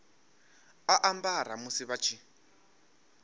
a ambara musi vha tshi